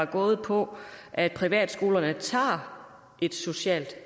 gået på at privatskolerne tager et socialt